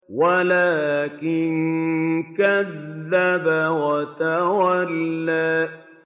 وَلَٰكِن كَذَّبَ وَتَوَلَّىٰ